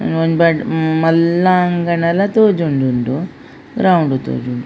ಒಂಜಿ ಬಡ್ ಮಲ್ಲ ಅಂಗಣಲ ತೋಜೊಂದುಂಡು ಗ್ರೌಂಡ್ ತೋಜೊಂಡು.